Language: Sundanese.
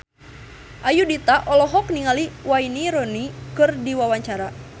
Ayudhita olohok ningali Wayne Rooney keur diwawancara